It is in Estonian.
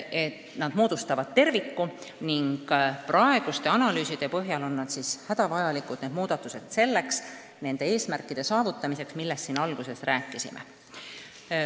Need moodustavad terviku ning praeguste analüüside põhjal on need muudatused hädavajalikud nende eesmärkide saavutamiseks, millest ma siin alguses rääkisin.